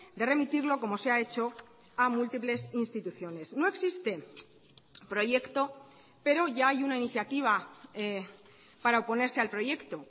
de remitirlo como se ha hecho a múltiples instituciones no existe proyecto pero ya hay una iniciativa para oponerse al proyecto